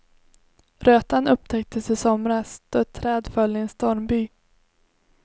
Rötan upptäcktes i somras då ett träd föll i en stormby.